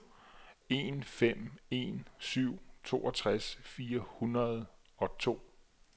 en fem en syv toogtres fire hundrede og to